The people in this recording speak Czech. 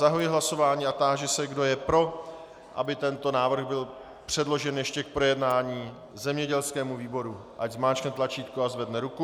Zahajuji hlasování a táži se, kdo je pro, aby tento návrh byl předložen ještě k projednání zemědělskému výboru, ať zmáčkne tlačítko a zvedne ruku.